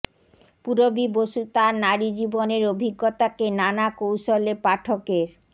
পূরবী বসু তার নারী জীবনের অভিজ্ঞতাকে নানা কৌশলে পাঠকের